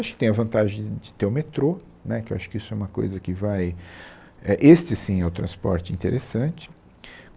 Acho que tem a vantagem de ter o metrô, né, que eu acho que isso é uma coisa que vai... é este, sim, é o transporte interessante.